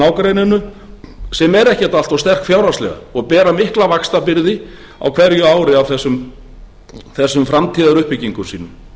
nágrenninu sem eru ekkert allt of sterk fjárhagslega og bera mikla vaxtabyrði á hverju ári af þessum framtíðaruppbyggingu sínum